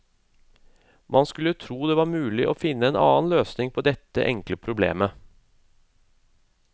Man skulle tro at det var mulig å finne en annen løsning på dette enkle problemet.